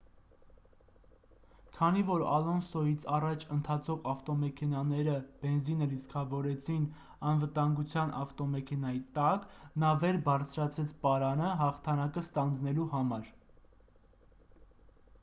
քանի որ ալոնսոյից առաջ ընթացող ավտոմեքենաները բենզինը լիցքավորեցին անվտանգության ավտոմեքենայի տակ նա վեր բարձրացրեց պարանը հաղթանակը ստանձնելու համար